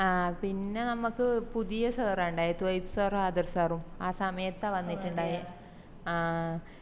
ആഹ് പിന്ന നമുക്ക് പുതിയ sir അ ഇണ്ടയെ sir ഉം ആദർശ് sir ഉം ആ സമയത്താ വന്നിറ്റിണ്ടായെ ആഹ്